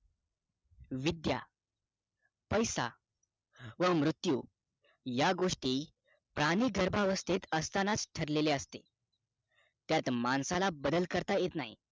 विद्या पैसा व मृत्यू या गोष्टी प्राणी गर्भ अवस्तेत असतानाच ठरलेल्या असतात त्यात माणसाला बदल करता येत नाही